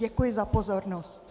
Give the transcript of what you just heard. Děkuji za pozornost.